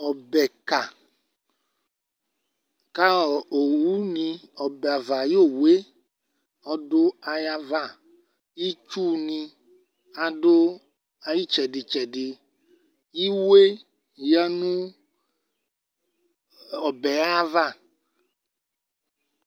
Ɔbɛka kaɔbɛava axu ɔwuni adayava Itsuni adu ɔbɛ ayitsɛdi tsɛdi Iwoeni adu ɔbɛ ayava